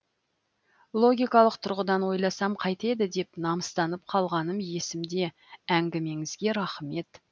логикалық тұрғыдан ойласам қайтеді деп намыстанып қалғаным есімде әңгімеңізге рахмет